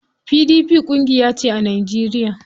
PDP ƙungiyace a Najeriya.